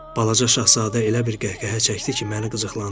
Balaca şahzadə elə bir qəhqəhə çəkdi ki, məni qıcıqlandırdı.